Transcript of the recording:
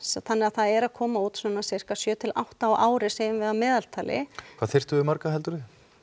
þannig að það eru að koma út svona sirka sjö til átta á ári segjum við að meðaltali hvað þyrftum við marga heldurðu